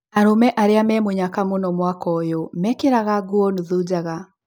Arũme arĩa me mũnyaka mũno mwaka ũyũmekĩraga nguo nuthu njaga.